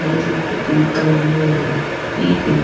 வீட்ல கூட பிங்க் கலர்ல ஒரு வீடிருக்கு.